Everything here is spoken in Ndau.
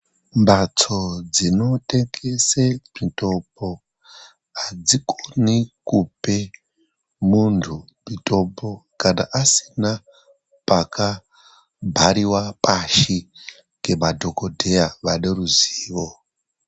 Mbatso dzinotengese mitombo adzikoni kupe muntu mitombo, kana asina pakabhariwa pashi ngemadhogodheya vane ruzivo.